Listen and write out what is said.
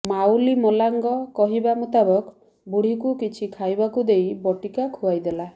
ମାଉଲି ମଲାଙ୍ଗ କହିବା ମୁତାବକ ବୁଢ଼ୀକୁ କିଛି ଖାଇବାକୁ ଦେଇ ବଟିକା ଖୁଆଇ ଦେଲା